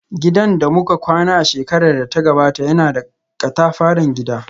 Gidan da muka kwana a shekarar da ta gabata yana da katafaren gida